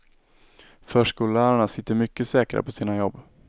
Förskollärarna sitter mycket säkrare på sina jobb.